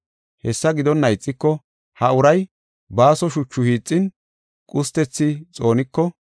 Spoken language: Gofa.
Hessa gidonna ixiko, ha uray baaso shuchu hiixin qustethi xooniko,